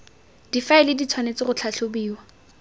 difaele di tshwanetse go tlhatlhobiwa